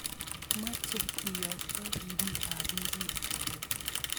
Mache keyokto ripiik ap emet.